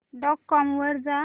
dot com वर जा